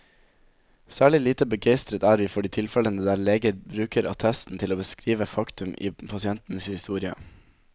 Særlig lite begeistret er vi for de tilfellene der legen bruker attesten til å beskrive faktum i pasientens historie.